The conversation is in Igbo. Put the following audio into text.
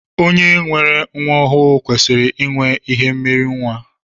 Onye nwere nwa ọhụụ kwesịrị inwe ihe mmiri nwa.